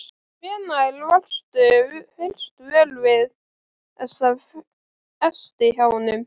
Hvenær varðstu fyrst vör við þessa festi hjá honum?